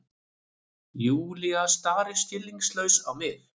Júlía starir skilningslaus á mig.